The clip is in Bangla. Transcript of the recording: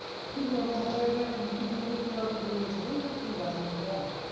কি বলবো বলো এই দেখো